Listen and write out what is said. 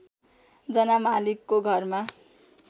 जना मालिकको घरमा